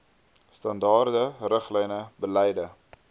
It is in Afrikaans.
standaarde riglyne beleide